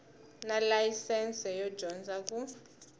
na layisense yo dyondza ku